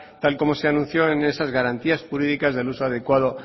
tal y como se anunció en esas garantías jurídicas del uso adecuado